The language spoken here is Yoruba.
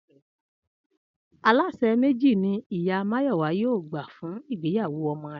Alásè méjì ni ìyá Máyò̩wá yóò gbà fún ìgbéyàwó o̩mo̩ rè̩